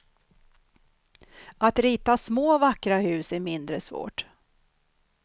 Att rita små vackra hus är mindre svårt.